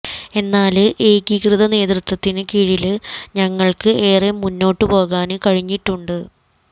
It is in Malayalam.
എന്നാല് ഏകീകൃത നേതൃത്വത്തിന് കീഴില് ഞങ്ങള്ക്ക് ഏറെ മുന്നോട്ട് പോകാന് കഴിഞ്ഞിട്ടുണ്ട്